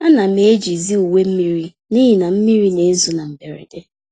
Ánám eji zi uwe mmiri n'ihi na mmiri n'ezo na mberede,